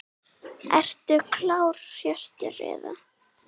Ertu klár Hjörtur eða?